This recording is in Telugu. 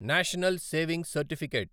national saving certificate